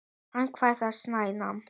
Hann var að snæða.